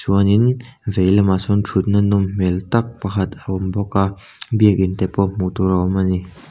chuanin veilamah sawn thut na nawm hmel tak pakhat a awm bawk a biakin te pawh hmuh tur a awm a ni.